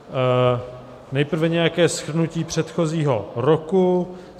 Nejprve nějaké shrnutí předchozího roku.